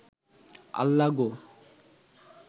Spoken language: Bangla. আল্লা গো